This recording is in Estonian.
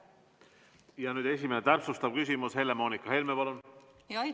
Nüüd esimene täpsustav küsimus, Helle-Moonika Helme, palun!